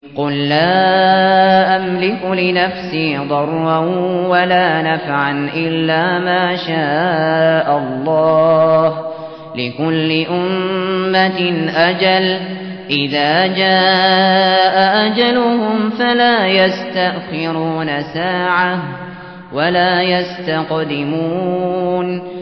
قُل لَّا أَمْلِكُ لِنَفْسِي ضَرًّا وَلَا نَفْعًا إِلَّا مَا شَاءَ اللَّهُ ۗ لِكُلِّ أُمَّةٍ أَجَلٌ ۚ إِذَا جَاءَ أَجَلُهُمْ فَلَا يَسْتَأْخِرُونَ سَاعَةً ۖ وَلَا يَسْتَقْدِمُونَ